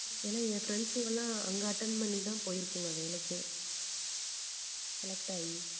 ஏன்னா என் friends ங்க எல்லாம் அங்க attend பண்ணிதான் போயிருக்குங்க வேலைக்கே select ஆயி